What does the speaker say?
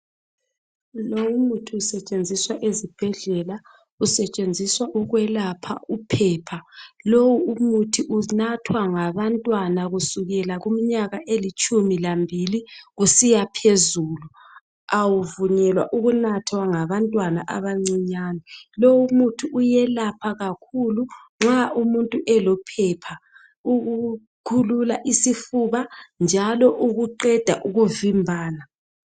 lo umuthi usetshenziswa ezibhedlela usetshenziswa ukwelapha uphepha lo umuthi unathwa ngabantwana kusukela kumnyaka elitshumi lambili kusiyaphezulu awuvunyelwa ukunathwa ngabantwana abancinyane lowu umuthi uyelapha kakhulu nxa umutnu elophepha ukukhulula isifuba njalo ukuqeda ukuvimbana